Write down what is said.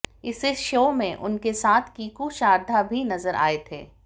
इसे शो में उनके साथ कीकू शारदा भी नजर आए थे